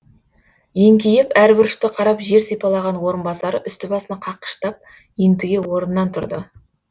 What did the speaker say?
еңкейіп әр бұрышты қарап жер сипалаған орынбасары үсті басын қаққыштап ентіге орнынан тұрды